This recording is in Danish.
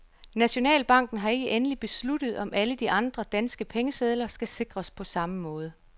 Nationalbanken har ikke endeligt besluttet, om alle de andre, danske pengesedler skal sikres på samme måde.